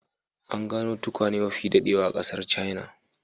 An gano tukwane mafi daɗewa a ƙasar china.